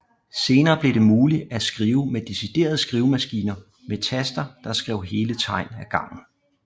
Senere blev det muligt at skrive med deciderede skrivemaskiner med taster der skrev hele tegn af gangen